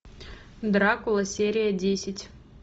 дракула серия десять